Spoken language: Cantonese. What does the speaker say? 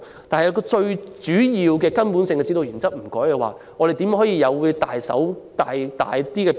但是，如果最主要的基本指導原則不變，如何能作出更大的變動？